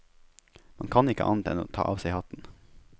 Man kan ikke annet enn å ta av seg hatten.